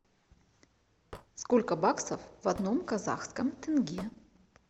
сколько баксов в одном казахском тенге